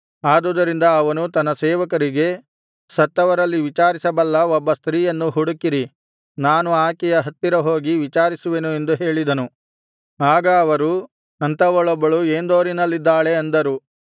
ಆದುದರಿಂದ ಅವನು ತನ್ನ ಸೇವಕರಿಗೆ ಸತ್ತವರಲ್ಲಿ ವಿಚಾರಿಸಬಲ್ಲ ಒಬ್ಬ ಸ್ತ್ರೀಯನ್ನು ಹುಡುಕಿರಿ ನಾನು ಆಕೆಯ ಹತ್ತಿರ ಹೋಗಿ ವಿಚಾರಿಸುವೆನು ಎಂದು ಹೇಳಿದನು ಆಗ ಅವರು ಅಂಥವಳೊಬ್ಬಳು ಏಂದೋರಿನಲ್ಲಿದ್ದಾಳೆ ಅಂದರು